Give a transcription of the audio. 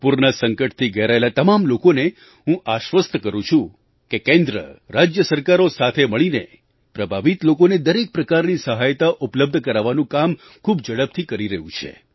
પૂરના સંકટથી ઘેરાયેલા તમામ લોકોને હું આશ્વસ્ત કરું છું કે કેન્દ્ર રાજ્ય સરકારો સાથે મળીને પ્રભાવિત લોકોને દરેક પ્રકારની સહાયતા ઉપલબ્ધ કરાવવાનું કામ ખૂબ ઝડપથી કરી રહ્યું છે